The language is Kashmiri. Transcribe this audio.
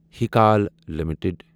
ہیٖکال لِمِٹٕڈ